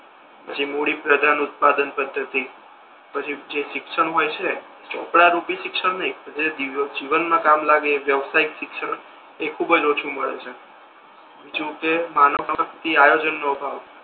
મૂડીપ્રધાન ઉત્પાદન પદ્ધતિ પછી જે શિક્ષણ હોય છે ચોપડા રૂપી શિક્ષણ નહી જે જીવન મા કામ મા લાગે એ વ્યવશાહીક શિક્ષણ એ ખૂબ જ ઓછુ મળે છે જોકે માનવ માથી આયોજન નો અભાવ